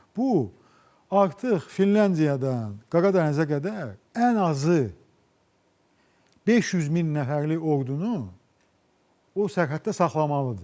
Bu artıq Finlandiyadan Qara dənizə qədər ən azı 500 min nəfərlik ordunu o sərhəddə saxlamalıdır.